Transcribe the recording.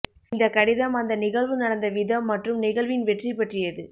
இந்த கடிதம் அந்த நிகழ்வு நடந்த விதம் மற்றும் நிகழ்வின் வெற்றி பற்றியது